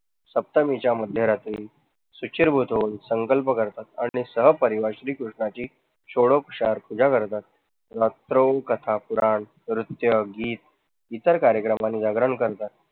सप्तमीच्या मध्यरात्री संकल्प करतात आणि सह परिवार श्रीकृष्णाची सोडोपशार पूजा करतात. रात्रौ कथा, पुराण, नृत्य, गीत इतर कार्यक्रमांनी जागरण करतात,